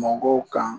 Mɔgɔw kan